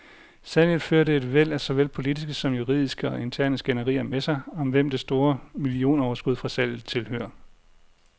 Salget førte et væld af såvel politiske som juridiske og interne skænderier med sig, om hvem det store millionoverskud fra salget tilhører.